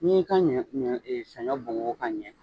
N'i y'i ka ɲɔ ɲɔ saɲɔ bugubugu ka ɲɛ